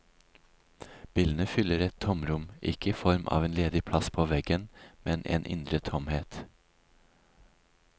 Bildene fyller et tomrom, ikke i form av en ledig plass på veggen, men en indre tomhet.